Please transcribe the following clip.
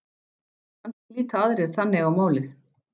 Kannski líta aðrir þannig á málið.